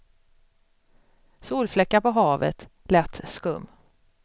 Solfläckar på havet, lätt skum.